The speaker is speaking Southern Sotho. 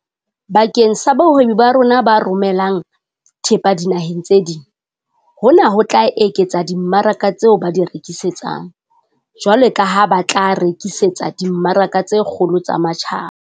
Bakeng sa bahwebi ba rona ba romelang thepa dinaheng tse ding, hona ho tla eketsa dimmaraka tseo ba di rekisetsang, jwalo ka ha ba tla re-kisetsa dimmaraka tse kgolo tsa matjhaba.